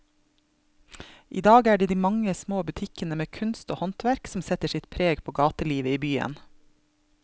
I dag er det de mange små butikkene med kunst og håndverk som setter sitt preg på gatelivet i byen.